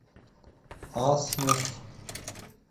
асмус